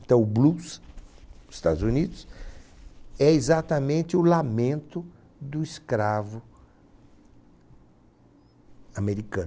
Então o blues nos Estados Unidos é exatamente o lamento do escravo americano.